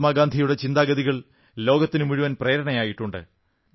മഹാത്മാഗാന്ധിയുടെ ചിന്താഗതികൾ ലോകത്തിനു മുഴുവൻ പ്രേരണയേകിയിട്ടുണ്ട്